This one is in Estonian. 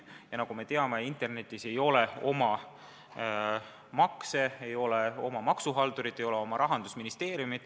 Ja nagu me teame, internetis ei ole oma makse, ei ole oma maksuhaldurit, ei ole oma rahandusministeeriumi.